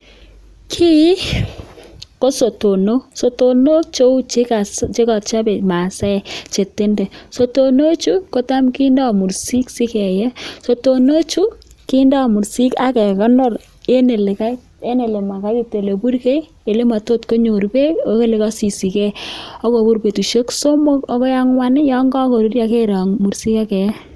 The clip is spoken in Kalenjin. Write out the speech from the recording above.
Kiy ko sotonok. Sotonook cheu che kochobe Masaek che tenden. Sotonochu, kotam kindo mursik si keyei. Sotonochu, kindo mursik ak kegonor en ole ma kaitit, ole burgei ele motot konyor beek ak ole kosisigei ak kobur betushek somok agoi ang'wan yon kogoruryo kerong mursik ak keyei.